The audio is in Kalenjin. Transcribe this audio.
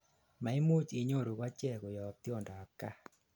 maimuch inyoru kochek koyob tiondap gaa